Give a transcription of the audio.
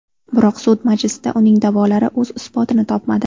Biroq sud majlisida uning da’volari o‘z isbotini topmadi.